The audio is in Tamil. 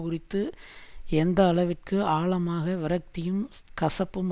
குறித்து எந்த அளவிற்கு ஆழமாக விரக்தியும் கசப்பும்